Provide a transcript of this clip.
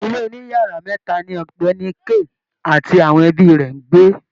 Ilé oniyara meta ni ògbéni Kay ati àwọn ẹbí rè ń gbé.